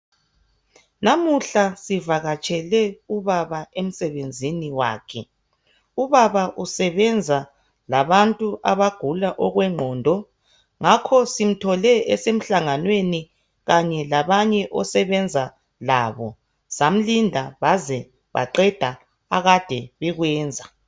Lamuhla sivakatshele ubaba emsebenzini wakhe. Ubaba usebenza labantu abagula okwengqondo ngakho simthole esemhlanganweni kanye labanye asebenza labo simlinde baze baqada akade bekwenza.